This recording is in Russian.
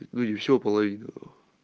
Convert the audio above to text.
ну не все а половину